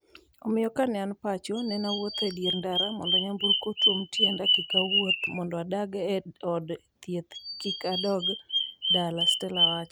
Omiyo kanean pacho nenawuotho e dier ndara mondo nyamburko otuom tienda kik awuoth, mondo adag e od thieth kik a dog dala, Stella wacho.